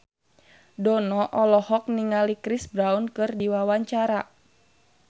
Dono olohok ningali Chris Brown keur diwawancara